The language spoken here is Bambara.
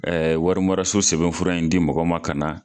warima so sɛbɛn fura in di mɔgɔ ma ka na